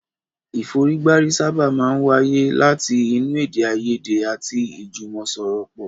Ìfọ̀rígbárí sábà máa ń wá láti inú èdè àìyèdè àti ìjùmọ̀sọ̀rọ̀pọ̀.